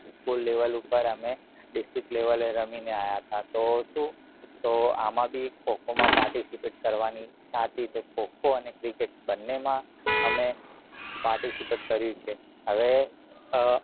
school level પર અમે district level રમી ને આયા તા તો શું તો આમાં બી ખો ખો માં participate કરવાની ઈચ્છા હતી તો ખો ખો અને cricket બંને માં અમે participate કર્યું છે હવે અ